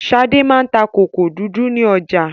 Ṣadé máa ń ta kòkò dúdú ní ọ̀jà.